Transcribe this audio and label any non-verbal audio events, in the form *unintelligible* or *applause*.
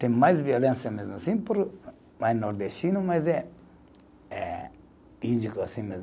Tem mais violência mesmo assim *unintelligible* nordestino, mas é eh, índico assim mesmo.